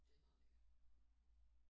Det er meget lækkert